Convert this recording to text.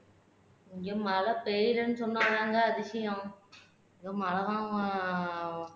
இங்க மழை பெய்யலைன்னு சொன்னா தாங்க அதிசயம் இங்க மழைதான்